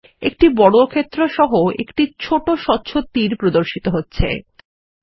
একটি বর্গক্ষেত্র সহ একটি ছোট স্বচ্ছ তীর কার্সার এর প্রান্তে নীচে প্রদর্শিত হবে